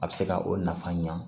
A bɛ se ka o nafa ɲa